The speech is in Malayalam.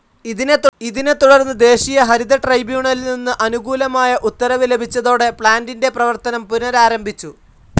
ഇതിനെത്തുടർന്ന് ദേശീയ ഹരിത ട്രൈബ്യൂണലിൽ നിന്ന് അനുകൂലമായ ഉത്തരവ് ലഭിച്ചതോടെ പ്ലാൻ്റിൻ്റെ പ്രവർത്തനം പുനരാരംഭിച്ചു.